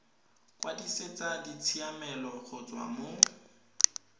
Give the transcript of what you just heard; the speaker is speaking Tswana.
kwadisetsa ditshiamelo go tswa mo